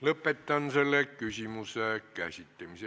Lõpetan selle küsimuse käsitlemise.